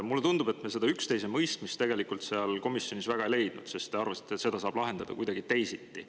Mulle tundub, et me üksteisemõistmisele komisjonis väga ei jõudnud, sest te arvasite, et seda saab lahendada kuidagi teisiti.